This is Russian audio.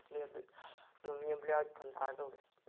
следует ну мне блять понравилось